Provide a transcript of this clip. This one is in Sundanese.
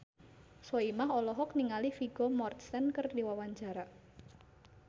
Soimah olohok ningali Vigo Mortensen keur diwawancara